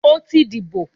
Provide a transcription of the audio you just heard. O ti dibo!